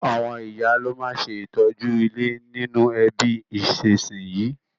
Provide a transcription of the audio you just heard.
Àwon ìyá lo ma n se ìtọ́jú ilé nínú ẹbí ìsínsinyì